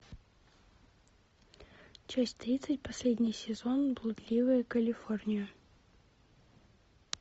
часть тридцать последний сезон блудливая калифорния